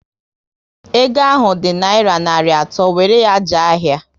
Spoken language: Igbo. Ego ahụ ọ dị naira narị atọ, wéré ya jee ahịa!